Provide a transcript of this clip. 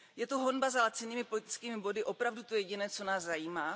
Je honba za lacinými politickými body opravdu to jediné, co nás zajímá?